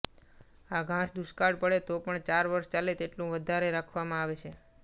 આ ઘાસ દુષ્કાળ પડે તો પણ ચાર વર્ષ ચાલે તેટલું વધારે રાખવામાં આવે છે